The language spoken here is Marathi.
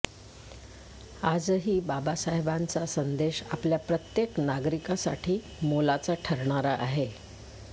आजही बाबासाहेबांचा संदेश आपल्या प्रत्येक नागरिकासाठी मोलाचा ठरणारा आहे